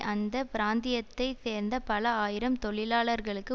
அந்த பிராந்தியத்தை சேர்ந்த பல ஆயிரம் தொழிலாளர்களுக்கு